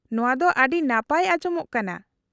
-ᱱᱚᱶᱟ ᱫᱚ ᱟᱹᱰᱤ ᱱᱟᱯᱟᱭ ᱟᱸᱡᱚᱢᱚᱜ ᱠᱟᱱᱟ ᱾